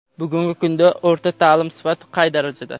Bugungi kunda o‘rta ta’lim sifati qay darajada?.